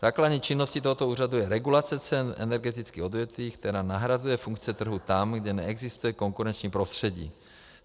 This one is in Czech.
Základní činností tohoto úřadu je regulace cen energetických odvětví, která nahrazuje funkce trhu tam, kde neexistuje konkurenční prostředí.